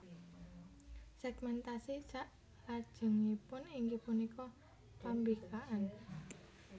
Segmentasi saklajengipun inggih punika pambikaan